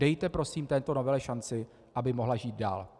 Dejte prosím této novele šanci, aby mohla žít dál.